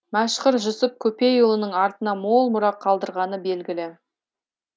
мәшһүр жүсіп көпейұлының артына мол мұра қалдырғаны белгілі